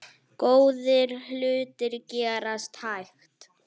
Góðir hlutir gerast hægt.